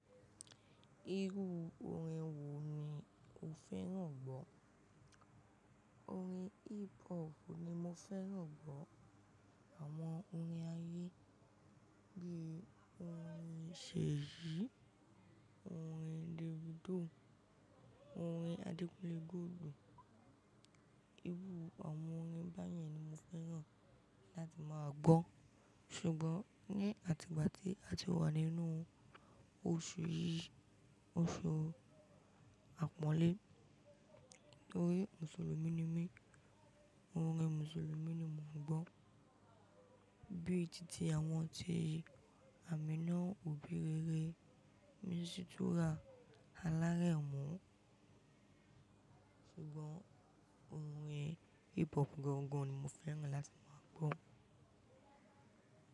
Irú orin wo ni o fẹ́ràn gbọ́? Orin hip hop ni mo fẹ́ràn gbọ́. Àwọn orin ayé bí orin Seyi, orin Davido, orin Adekunle Gold, irú àwọn orin báyẹn ni mo fẹ́ràn láti máa gbọ́. Ṣùgbọ́n ní àtìbàtí tí a ti wà nínú oṣù yìí, oṣù àpọ́nlé, nítorí Mùsùlùmí ni mí, orin Mùsùlùmí ni mo ń gbọ́ bí i títí àwọn ọtí Amina, Obi Re Re, Misitura, Alárẹ̀mú. Ṣùgbọ́n orin hip hop gangan ni mo fẹ́ràn láti máa gbọ́.